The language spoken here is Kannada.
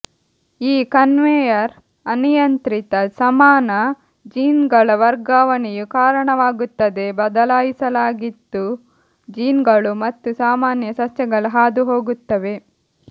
ಈ ಕನ್ವೇಯರ್ ಅನಿಯಂತ್ರಿತ ಸಮಾನ ಜೀನ್ಗಳ ವರ್ಗಾವಣೆಯು ಕಾರಣವಾಗುತ್ತದೆ ಬದಲಾಯಿಸಲಾಗಿತ್ತು ಜೀನ್ಗಳು ಮತ್ತು ಸಾಮಾನ್ಯ ಸಸ್ಯಗಳು ಹಾದುಹೋಗುತ್ತವೆ